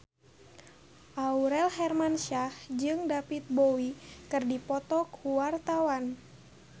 Aurel Hermansyah jeung David Bowie keur dipoto ku wartawan